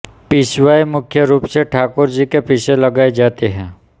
पिछवाई मुख्य रूप से ठाकुरजी के पीछे लगाई जाती है